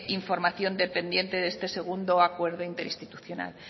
información dependiente de este segundo acuerdo interinstitucional